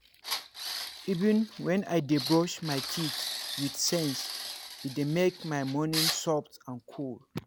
even when i dey brush my teeth with sense — e dey make make my morning soft and cool.